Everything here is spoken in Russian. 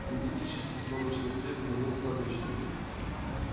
синтетический солнечный свет сменился обычным